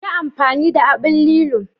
Yi amfani da aɓn lillo..